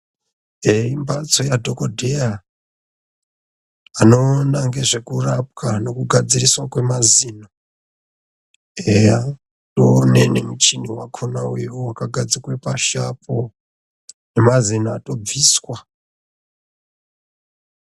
Imhatso yadhokodheya, anoona ngezvekurapwa nokugadziriswa kwemazino. Eya ndowemene muchini wakhona uyo wakagadzikwe pashi apo, nemazino atobviswa.